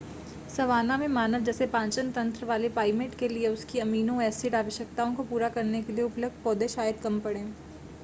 savanna में मानव जैसे पाचन तंत्र वाले प्राइमेट के लिए उसकी अमीनो-एसिड आवश्यकताओं को पूरा करने के लिए उपलब्ध पौधे शायद कम पड़ें